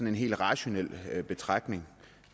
en helt rationel betragtning